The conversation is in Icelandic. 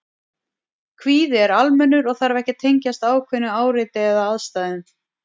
Kvíði er almennur og þarf ekki að tengjast ákveðnu áreiti eða aðstæðum.